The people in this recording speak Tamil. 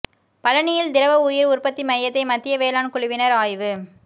பழநியில் திரவ உயிர் உற்பத்தி மையத்தை மத்திய வேளாண் குழுவினர் ஆய்வு